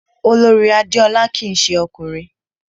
Olorì Adéọlá kìí se ọkùnrin